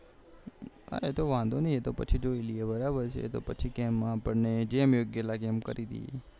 ના ના તો વાંધો નઈ એ તો બરાબર છે આપને જેમ યોગ્ય લાગે એમ કરી દઈએ